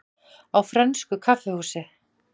Á frönsku kaffihúsi?